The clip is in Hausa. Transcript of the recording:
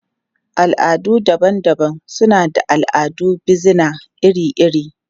Al'adu daban-daban suna da al'adun bizina iri-iri.